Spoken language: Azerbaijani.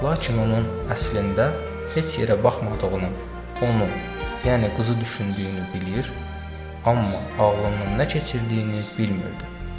Lakin onun əslində heç yerə baxmadığını, onu, yəni qızı düşündüyünü bilir, amma ağlından nə keçirdiyini bilmirdi.